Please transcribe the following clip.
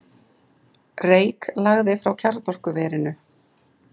Reyk lagði frá kjarnorkuverinu